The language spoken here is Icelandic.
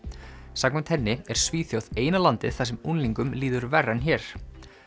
samkvæmt henni er Svíþjóð eina landið þar sem unglingum líður verr en hér